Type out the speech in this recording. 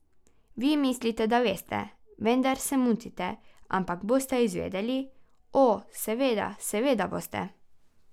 Vi mislite, da veste, vendar se motite, ampak boste izvedeli, o, seveda, seveda boste.